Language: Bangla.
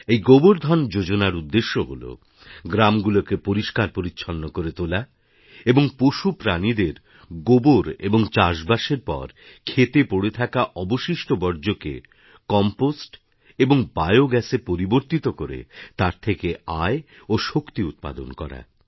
এই গোবার ধান যোজনার উদ্দেশ্য হল গ্রামগুলোকে পরিষ্কার পরিচ্ছন্ন করে তোলা এবং পশু প্রাণিদের গোবর এবং চাষবাসের পর ক্ষেতে পড়ে থাকা অবশিষ্ট বর্জ্যকে কম্পোস্ট এবং বায়োগাস এ পরিবর্তিত করে তার থেকে আয় ও শক্তি উৎপাদন করা